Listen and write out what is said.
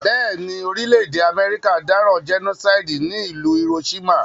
Béèni, orílẹ̀dè America dáràn genocide ní ìlú Hiroshima